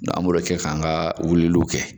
an b'o be kɛ ka an ka wuliliw kɛ.